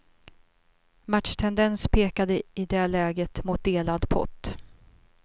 Matchtendens pekade i det läget mot delad pott.